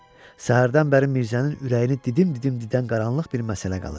Səhərdən bəri Mirzənin ürəyini didim-didim didən qaranlıq bir məsələ qalır.